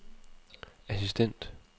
assistent